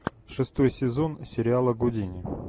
шестой сезон сериала гудини